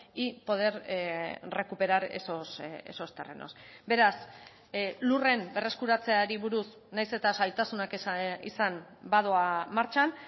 y poder recuperar esos terrenos beraz lurren berreskuratzeari buruz nahiz eta zailtasunak izan badoa martxan